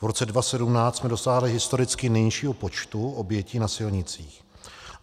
V roce 2017 jsme dosáhli historicky nejnižšího počtu obětí na silnicích.